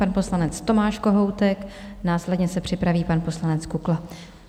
Pan poslanec Tomáš Kohoutek, následně se připraví pan poslanec Kukla.